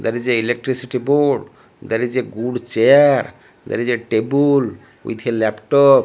there is electricity board there is a good chair there is a tebul with a laptop.